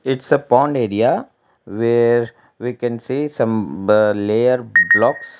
it's a pond area where we can see some ba layer blocks.